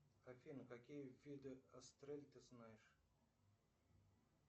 афина какие виды астрель ты знаешь